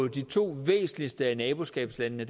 de to væsentligste af naboskabslandene